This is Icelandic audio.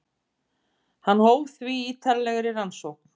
Hann hóf því ítarlegri rannsókn.